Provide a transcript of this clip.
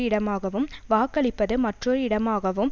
இடமாகவும் வாக்களிப்பது மற்றொரு இடமாகவும்